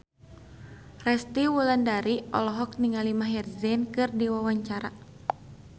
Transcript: Resty Wulandari olohok ningali Maher Zein keur diwawancara